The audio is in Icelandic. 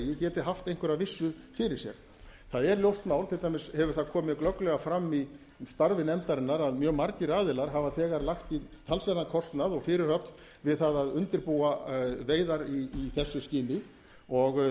degi geti haft einhverja vissu fyrir sér það er ljóst mál til dæmis hefur það komið glögglega fram í starfi nefndarinnar að mjög margir aðilar hafa þegar lagt í talsverðan kostnað og fyrirhöfn við það að undirbúa veiðar í þessu skyni og